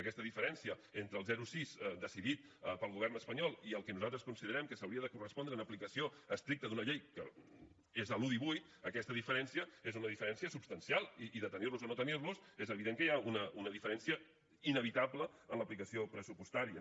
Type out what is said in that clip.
aquesta diferència entre el zero coma sis decidit pel govern espanyol i el que nosaltres considerem que s’hauria de correspondre en aplicació estricta d’una llei que és l’un coma divuit és una diferència substancial i de tenir los a no tenir los és evident que hi ha una diferència inevitable en l’aplicació pressupostària